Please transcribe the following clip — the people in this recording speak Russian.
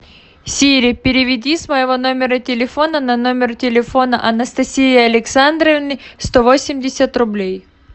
сири переведи с моего номера телефона на номер телефона анастасии александровны сто восемьдесят рублей